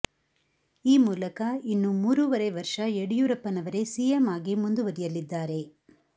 ಈ ಮೂಲಕ ಇನ್ನು ಮೂರುವರೆ ವರ್ಷ ಯಡಿಯೂರಪ್ಪನವರೇ ಸಿಎಂ ಆಗಿ ಮುಂದುವರಿಯಲಿದ್ದಾರೆ